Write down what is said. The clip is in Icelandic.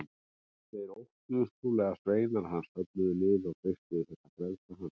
Þeir óttuðust trúlega að sveinar hans söfnuðu liði og freistuðu þess að frelsa hann.